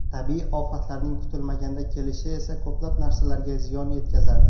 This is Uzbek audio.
Tabiiy ofatlarning kutilmaganda kelishi esa ko‘plab narsalarga ziyon yetkazadi.